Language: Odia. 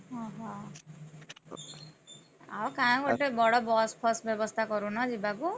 ଓହୋ, ଆଉ କାଇଁ ଗୋଟେ ବଡ bus ଫସ୍ ବ୍ୟବସ୍ଥା କରୁନ ଯିବାକୁ।